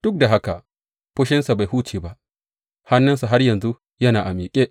Duk da haka, fushinsa bai huce ba, hannunsa har yanzu yana a miƙe.